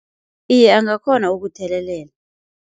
Iye angakhona ukuthelelela.